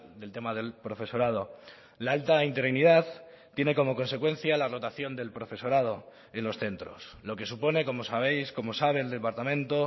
del tema del profesorado la alta interinidad tiene como consecuencia la rotación del profesorado en los centros lo que supone como sabéis como sabe el departamento